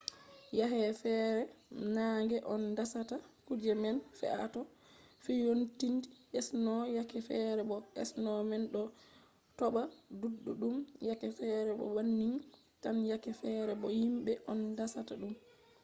yake fere nange on dasata kuje man fe’a to fiyouniti sno yake fere bo sno man ɗo toɓa ɗuɗɗum yake fere bo banning tan yake fere bo himɓe on dasata ɗum